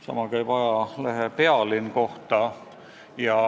Sama käib ajalehe Pealinn kohta.